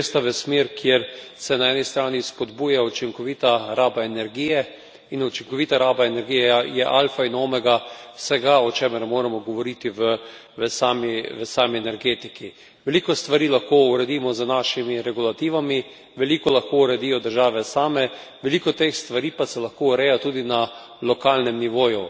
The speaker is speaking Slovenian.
Gresta v smer, kjer se na eni strani spodbuja učinkovita raba energije in učinkovita raba energije je alfa in omega vsega, o čemer moramo govoriti v sami energetiki. Veliko stvari lahko uredimo z našimi regulativami, veliko lahko uredijo države same, veliko teh stvari pa se lahko ureja tudi na lokalnem nivoju.